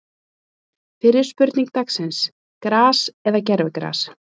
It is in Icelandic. Fyrri spurning dagsins: Gras eða gervigras?